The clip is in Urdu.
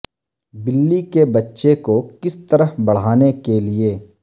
بلی کے بچے کو کس طرح بڑھانے کے لئے